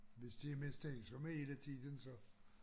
Hvis de er mistænksomme hele tiden så